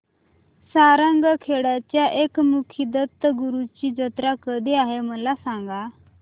सारंगखेड्याच्या एकमुखी दत्तगुरूंची जत्रा कधी आहे मला सांगा